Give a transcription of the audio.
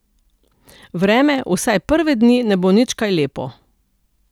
Vreme, vsaj prve dni, ne bo nič kaj lepo.